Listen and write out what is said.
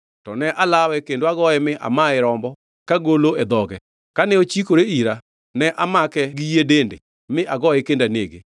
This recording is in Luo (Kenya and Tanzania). to ne alawe kendo agoye mi amaye rombo kagolo e dhoge. Kane ochikore ira, ne amake gi yie dende mi agoye kendo anege.